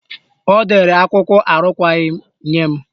Ọ dere akwụkwọ arụkwaghị nye m.